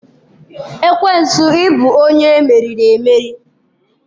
Ekwensu ị bụ onye emeriri emeri